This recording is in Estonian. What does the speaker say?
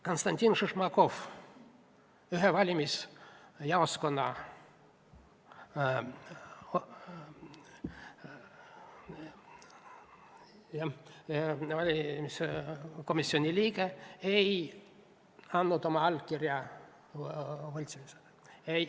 Konstantin Šišmakov, ühe valimisjaoskonna valimiskomisjoni liige, ei andnud võltsimisele allkirja.